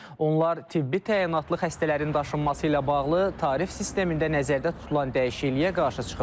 Onlar tibbi təyinatlı xəstələrin daşınması ilə bağlı tarif sistemində nəzərdə tutulan dəyişikliyə qarşı çıxıblar.